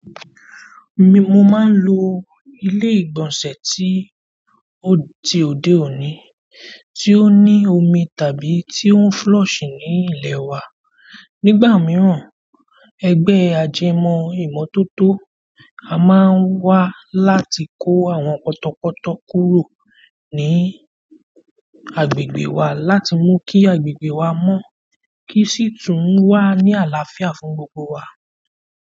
Mo máa ń lo ilé ìgbọ̀nsẹ̀ ti òde òní tí ó ní omi tàbí tí ó ń flush ní ilẹ̀ wa. Nígbà mìíràn, ẹgbẹ́ ajẹmọ́ ìmọ́tótó a máa wá láti kó àwọn potọ̀potọ̀ kúrò ní agbègbè wa láti mú kí agbègbè wa mọ́, kí sì tún wà ní àlàáfíà fún gbogbo wa.